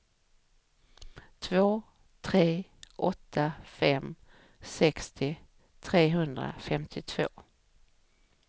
två tre åtta fem sextio trehundrafemtiotvå